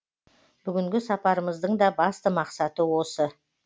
бүгінгі сапарымыздың да басты мақсаты осы